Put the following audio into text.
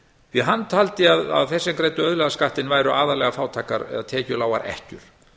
því hann taldi að þeir sem greiddu auðlegðarskattinn væru aðallega fátækar eða tekjulágar ekkjur